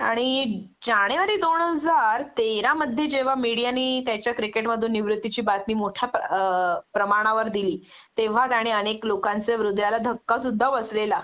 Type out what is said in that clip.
आणि जानेवारी दोन हजार तेरा मध्ये जेंव्हा मीडियाने त्यांच्या क्रिकेट मधून निवृत्तीची बातमी मोठ्या अ प्रमाणावर दिली तेंव्हा आणि अनेक लोकांच्या हृदयाला धक्का सुद्धा बसलेला